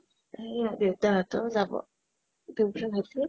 অ । এই দেউতা হতেও যাব, তেন্কে ভাব্ছো ।